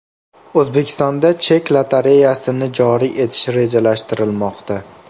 O‘zbekistonda chek lotereyasini joriy etish rejalashtirilmoqda.